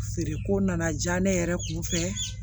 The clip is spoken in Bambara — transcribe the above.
Feere ko nana ja ne yɛrɛ kun fɛ